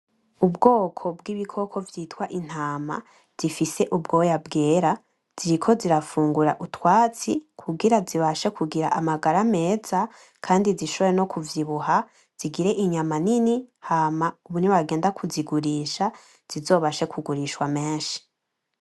Ubwoko vy’ibikoko vyitwa intama zifise ubwoya bwera ziriko zirafungura utwasti kungirango zibashe kugira amangara meza, kandi zishombore no kuvyibuha zingire inyama nini ,hama nibagenda kuzigurisha zizobashwe kungurishwa menshi.